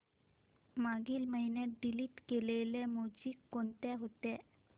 मागील महिन्यात डिलीट केलेल्या मूवीझ कोणत्या होत्या